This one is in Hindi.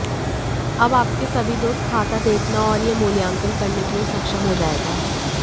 अब आपके सभी दोस्त खाता देखना और यह मूल्यांकन करने के लिए सक्षम हो जाएगा